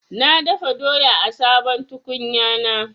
Na dafa doya a sabon tukunyana.